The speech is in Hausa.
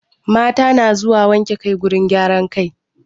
Mata na zuwa wanke kai wurin gyaran kai.